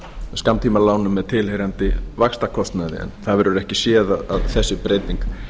skammtímalánum með tilheyrandi vaxtakostnaði en það verður ekki séð að þessi breyting